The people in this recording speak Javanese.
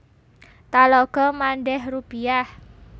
Talago Mandeh Rubiah